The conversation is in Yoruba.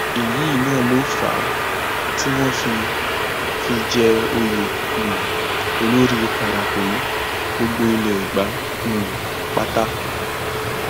èyí náà ló fà á tí wọn fi fi í jẹ òye um olórí parakòyí gbogbo ilé ẹgbà um pátá